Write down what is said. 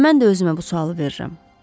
Elə mən də özümə bu sualı verirəm.